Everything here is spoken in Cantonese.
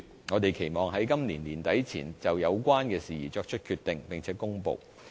我們期望在今年年底前，就有關事宜作出決定並且作出公布。